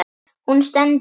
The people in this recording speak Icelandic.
Hún stendur enn.